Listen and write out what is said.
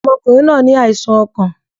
Ọmọkùnrin náa ní àìsàn ọkàn.